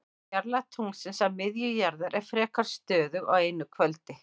Fjarlægð tunglsins að miðju jarðar er frekar stöðug á einu kvöldi.